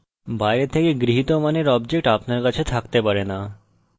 বাইরে থেকে গৃহীত মানের objects আপনার কাছে থাকতে পারে না